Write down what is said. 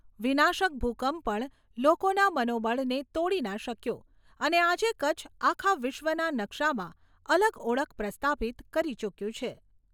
વિનાશક ભૂકંપ પણ લોકોના મનોબળને તોડી ના શક્યો અને આજે કચ્છ આખા વિશ્વના નકશામાં અલગ ઓળખ પ્રસ્થાપિત કરી ચૂક્યું છે.